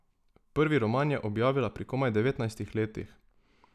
Prvi roman je objavila pri komaj devetnajstih letih.